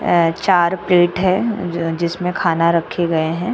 आए चार प्लेट है जिसमें खाना रखे गए हैं।